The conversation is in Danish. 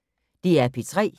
DR P3